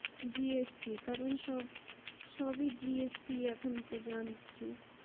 gst কারণ সব সবই gst তো জানছি